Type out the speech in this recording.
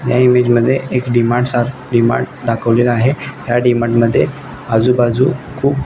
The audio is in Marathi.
या इमेज मध्ये एक डी मार्ट सा डी मार्ट दाखवलेला आहे या डी मार्ट मध्ये आजूबाजू खुप --